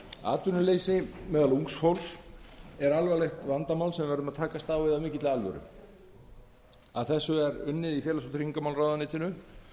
atvinnuleysi meðal ungs fólks er alvarlegt vandamál sem við verðum að takast á við af mikilli alvöru að þessu er unnið í félags og tryggingamálaráðuneytinu